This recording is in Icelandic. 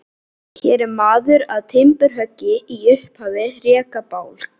Hér er maður að timburhöggi í upphafi rekabálks.